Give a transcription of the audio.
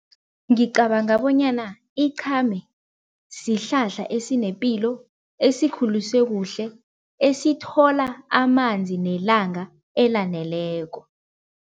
Ngicabanga bonyana iqhame sihlahla esinepilo, esikhuliswe kuhle, esithola amanzi nelanga elaneleko.